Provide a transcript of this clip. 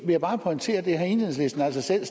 vil bare pointere at enhedslisten altså selv